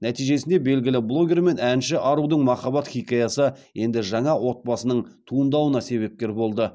нәтижесінде белгілі блогер мен әнші арудың махаббат хикаясы енді жаңа отбасыныі туындауына себепкер болды